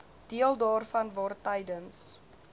deel daarvan waartydens